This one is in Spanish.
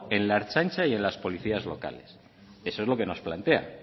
en la ertzaintza y en las policías locales eso es lo que nos plantea